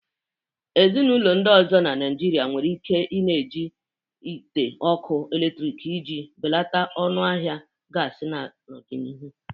Ezinụlọ ndị ọzọ na Naịjirịa nwere ike i-na iji ite ọkụ eletrik iji belata ọnụ ahịa gasi n'ọdịnihu.